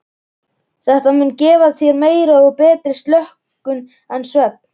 Þetta mun gefa þér meiri og betri slökun en svefn.